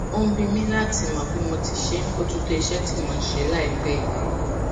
ó ń bi mí láti mọ bí mo ti ṣe ń bójú tó iṣé tí mò ń ṣe láìpẹ yìí